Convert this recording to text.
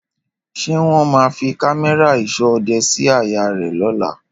Ṣé wọ́n má fi cámérà ìsọ́ òde síí àyè rè lóla